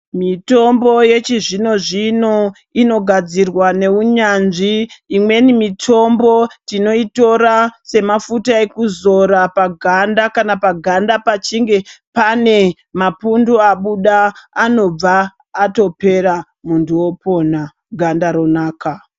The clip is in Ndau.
Mitombo yechizvino zvino inogadzirwa neunyanzvi imweni mitombo tinoyitora semafuta ekuzora paganda kana paganda pachinge pane mapundu abuda anobva atopera muntu opona ganda ronaka.